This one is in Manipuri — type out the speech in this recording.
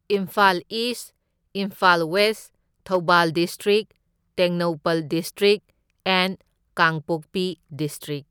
Imphal East, Imphal West, Thoubal district, Tengnoupal district and Kangpokpi district.